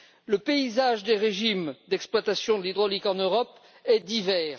Le paysage des régimes d'exploitation hydraulique en Europe est divers.